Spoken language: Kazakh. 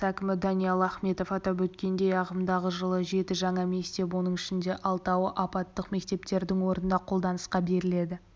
әкімі даниал ахметов атап өткендей ағымдағы жылы жеті жаңа мектеп оның ішінде алтауы апаттық мектептердің орнына қолданысқа беріледі